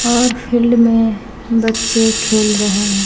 और फील्ड में बच्चे खेल रहे --